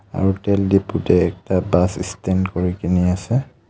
আৰু তেল দিপু তে একতা বাছ ষ্টেণ্ড কৰি কেনি আছে.